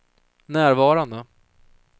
närvarande